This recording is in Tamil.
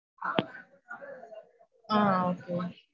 ஆஹ் okay